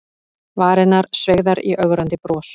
Varirnar sveigðar í ögrandi bros.